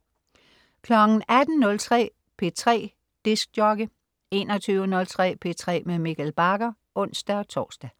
18.03 P3 dj 21.03 P3 med Mikkel Bagger (ons-tors)